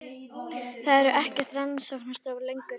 Það eru ekki til rakarastofur lengur.